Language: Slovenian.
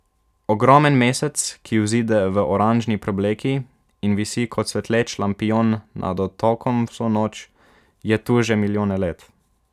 Ogromen mesec, ki vzide v oranžni preobleki in visi kot svetleč lampijon nad otokom vso noč, je tu že milijone let.